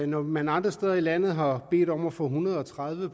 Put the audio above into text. når man andre steder i landet har bedt om at få en hundrede og tredive